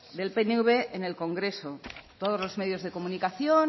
del pnv en el congreso todos los medios de comunicación